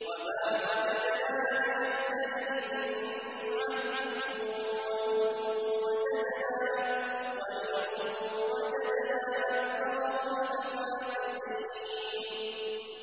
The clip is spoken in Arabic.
وَمَا وَجَدْنَا لِأَكْثَرِهِم مِّنْ عَهْدٍ ۖ وَإِن وَجَدْنَا أَكْثَرَهُمْ لَفَاسِقِينَ